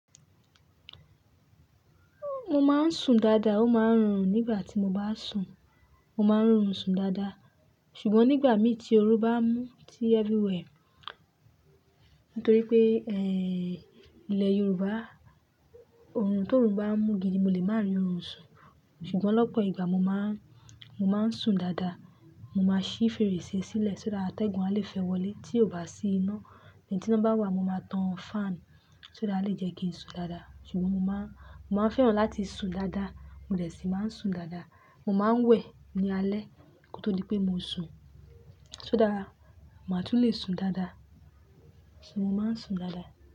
Mo máa ń sùn dáadáa, ó máa ń rùn nígbà tí mo bá sùn. Mo máa ń rùn sùn dáadáa. Ṣùgbọ́n nígbà mí tí oru bá mú tí ẹbí wẹ̀, nítorí pé, ẹ́, ilẹ̀ Yorùbá, oorun tó run bá mú gidi, mo lè máa rí oorun sùn. Ṣùgbọ́n lọ́pọ̀ ìgbà mo máa ń, mo máa ń sùn dáadáa. Mo máa ṣí fèrèsé sílẹ̀, só dára atẹ́gùn a lè fẹ́ wọlé tí ó bá sí iná. Lẹ́yìn tí iná bá wà, mo máa tan fan, só dára, ó lè jẹ́ kí n sùn dáadáa. Ṣùgbọ́n mo máa ń, mo máa ń fẹ́ràn láti sùn dáadáa, mo lẹ̀ṣin máa ń sùn dáadáa. Mo máa ń wẹ̀ ní alẹ́ kí ó tó di pé mo sùn. Só dára, màá tún lè sùn dáadáa. Ṣé mo máa ń sùn dáadáa?